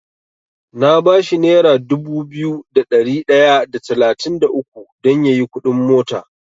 Na bashi nera dubu biyu da ɗari ɗaya da talatin da uku dan yayi kuɗin mota.